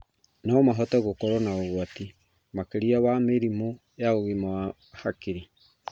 No mahote gũkorwo na ũgwati makĩria wa mĩrimũ ya ũgima wa hakiri.